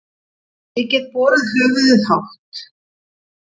Ég get borið höfuðið hátt.